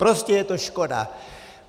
Prostě je to škoda.